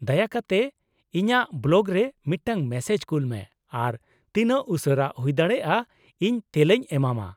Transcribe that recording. ᱫᱟᱭᱟ ᱠᱟᱛᱮ ᱤᱧᱟᱹᱜ ᱵᱞᱚᱜᱨᱮ ᱢᱤᱫᱴᱟᱝ ᱢᱮᱥᱮᱡ ᱠᱩᱞ ᱢᱮ ᱟᱨ ᱛᱤᱱᱟᱹᱜ ᱩᱥᱟᱹᱨᱟ ᱦᱩᱭᱫᱟᱲᱮᱭᱟᱜᱼᱟ ᱤᱧ ᱛᱮᱞᱟᱧ ᱮᱢᱟᱢᱟ ᱾